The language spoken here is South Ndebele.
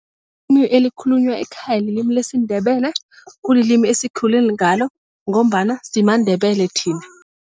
Elikhulunywa ekhaya lilimi lesindebele. Kulilimi esikhule ngalo ngombana simaNdebele thina.